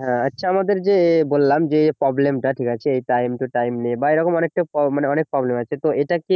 হ্যাঁ আচ্ছা আমাদের যে বললাম যে problem টা ঠিক আছে time to time নেই বা এরকম অনেকটা মানে অনেক problem আছে তো এটা কি